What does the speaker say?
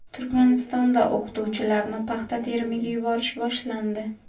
Turkmanistonda o‘qituvchilarni paxta terimiga yuborish boshlandi.